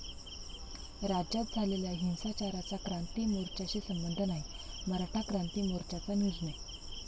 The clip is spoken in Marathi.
राज्यात झालेल्या हिंसाचाराचा क्रांती मोर्च्याशी संबंध नाही, मराठा क्रांती मोर्चाचा निर्णय